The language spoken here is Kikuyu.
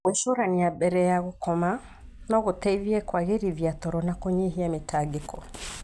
Gwĩcũrania mbere ya gũkoma no gũteithie kũagĩrithia toro na kũnyihia mĩtangĩko.